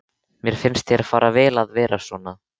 Mér finnst þér fara vel að vera svona.